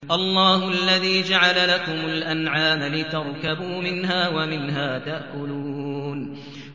اللَّهُ الَّذِي جَعَلَ لَكُمُ الْأَنْعَامَ لِتَرْكَبُوا مِنْهَا وَمِنْهَا تَأْكُلُونَ